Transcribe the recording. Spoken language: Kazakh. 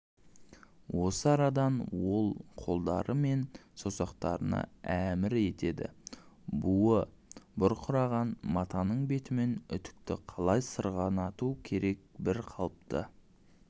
осы арадан ол қолдары мен саусақтарына әмір етеді буы бұрқыраған матаның бетімен үтікті қалай сырғанату керек бір қалыпты